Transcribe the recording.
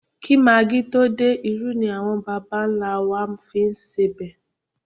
Kí magí tó dé, irú ni àwọn bàbà-ńlá á wá fi ń sebẹ̀